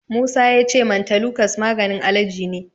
Musa ya ce mantelukas maganin alaji ne.